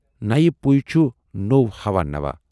نَوِ پُیہِ چھُ نوو ہَوا نوا۔